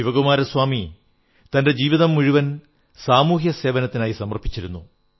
ശിവകുമാരസ്വാമി തന്റെ ജീവിതം മുഴുവൻ സാമൂഹ്യസേവനത്തിനായി സമർപ്പിച്ചിരുന്നു